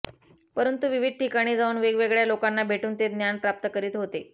परंतु विविध ठिकाणी जाऊन वेगवेगळ्या लोकांना भेटून ते ज्ञान प्राप्त करीत होते